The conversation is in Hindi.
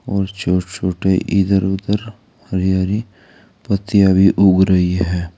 और छोटे छोटे इधर उधर हरि हरि पत्तियां भी उग रही है।